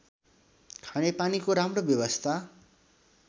खानेपानीको राम्रो व्यवस्था